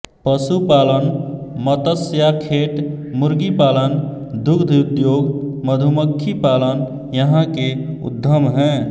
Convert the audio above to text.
पशुपालन मत्स्याखेट मुर्गीपालन दुग्धउद्योग मधुमक्खी पालन यहाँ के उद्यम हैं